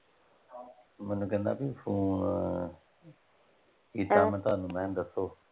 ਮੈਨੂੰ ਕਹਿੰਦਾ ਬੀ ਫ਼ੋਨ ਕੀਤਾ ਮੈਂ ਤੁਹਾਨੂੰ ਮੈਂ ਕਿਹਾ ਦੱਸੋ?